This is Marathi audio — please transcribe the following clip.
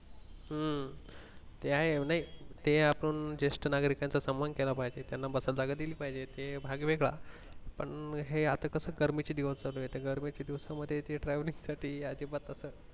हम्म ते आहे नि ते आपण जेष्ठ नागरिकाचा समान केला पाहिजे त्याना बसायला जागा दिली पाहिजे ते भाग वेगळा पण हे असं कसं गर्मी चे दिवस चालू ये ते गर्मी च्या दिवसा मध्ये ते traveling साठी अजिबात असं